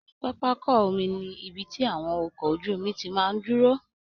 Pápákọ omi ni ibi tí àwọn ọkọ ojú omi ti máa ń dúró